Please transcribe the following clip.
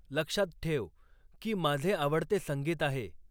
लक्षात ठेव की माझे आवडते संगीत आहे